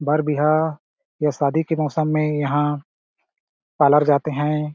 बर-बियाह या शादी के मौसम में यहाँ पार्लर जाते हैं ।